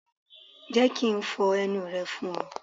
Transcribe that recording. Jẹ́ ki n fo ẹnu rẹ fún ọ.